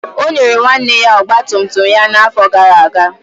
O nyere nwanne ya ọgba tum tum ya n'afọ gara aga.